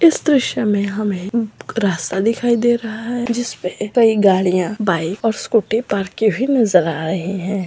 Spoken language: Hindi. इस दृश्य में हमें रास्ता दिखाई दे रहा है जिसपे कई गाड़ियां बाइक और स्कूटी पार्क की हुई नजर आ रहे है।